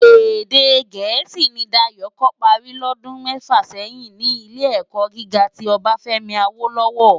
Èdè Gẹẹsi ni Dayo kò pári lòdún mèfá sèyin ni Ilé-èkò gigá ti Obafemi Awolowo.